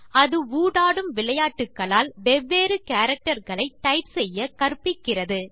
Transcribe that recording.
அது ஊடாடும் விளையாட்டுகளால் வெவ்வேறு கேரக்டர் களை டைப் செய்ய கற்பிக்கிறது